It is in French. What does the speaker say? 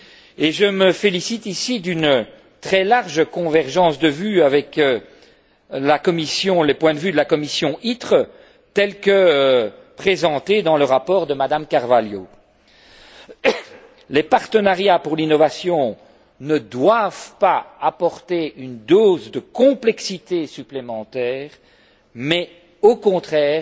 Et je me félicite ici d'une très large convergence de vues avec la position de la commission ITRE telle que présentée dans le rapport de Mme Carvalho. Les partenariats pour l'innovation ne doivent pas apporter une dose de complexité supplémentaire, mais au contraire